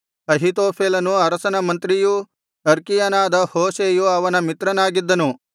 ಅಹೀತೋಫೆಲನು ಅರಸನ ಮಂತ್ರಿಯೂ ಅರ್ಕೀಯನಾದ ಹೂಷೈಯು ಅರಸನ ಮಿತ್ರನಾಗಿದ್ದನು